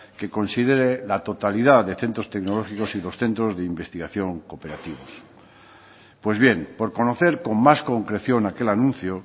que considere la totalidad de centros tecnológicos y los centros de investigación cooperativos pues bien por conocer con más concreción aquel anuncio